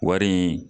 Wari in